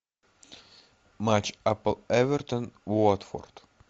матч апл эвертон уотфорд